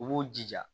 U b'u jija